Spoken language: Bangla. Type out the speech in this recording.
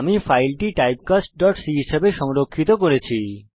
আমি ফাইলটি typecastসি হিসাবে সংরক্ষিত করেছি